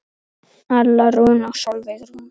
Alla Rún og Sólveig Rún.